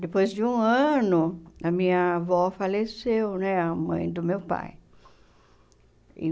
Depois de um ano, a minha avó faleceu né, a mãe do meu pai. Em